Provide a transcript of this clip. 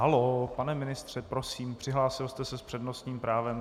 Haló, pane ministře, prosím, přihlásil jste se s přednostním právem.